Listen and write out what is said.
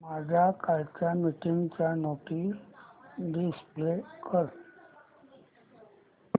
माझ्या कालच्या मीटिंगच्या नोट्स डिस्प्ले कर